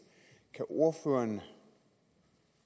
kan ordføreren